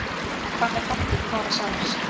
En hvað með framtíð Kára sjálfs?